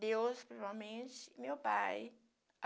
Deus, provavelmente, e meu pai.